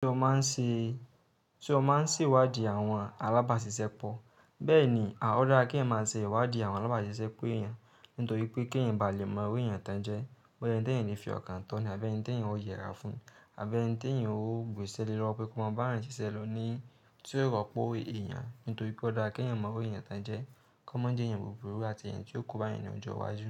Ti o ma n si i, ti o ma n siwadi awon alabaṣiṣẹpọ, bẹ́ẹ̀ní o da kí ẹ ma ṣe ìwádi àwọn alábàáṣiṣẹ́ po èèyàn, nítorí pé kí ẹyin ba lè mọ òwe èèyàn tán jẹ, bọ́ ẹyin tán èyìn fi ọkàn tán ni, abẹ́ẹ́ ẹni tán èyìn ó yèra fún, abẹ́ẹ́ ẹni tán èyìn ó gbè ṣélé lọ́ pé kí wọn mọ bárá ìṣiṣẹ́ ló ní, tí ó rọpò èèyàn, nítorí pé ó da kí ẹyin mọ òwe èèyàn tán jẹ, kí wọn má jẹ́ èèyàn burúrú àti èèyàn tí ó kú bá èèyàn ní ọjọ́ iwájú.